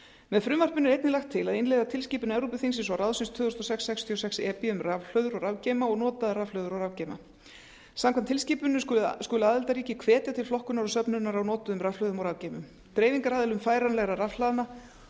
með frumvarpinu er einnig lagt til að innleiða tilskipun evrópuþingsins og ráðsins tvö þúsund og sex sextíu og sex e b um rafhlöður og rafgeyma og notaðar rafhlöður og rafgeyma samkvæmt tilskipuninni skulu aðildarríki hvetja til flokkunar og söfnunar á notuðum rafhlöðum og rafgeymum dreifingaraðilum færanlegra rafhlaða a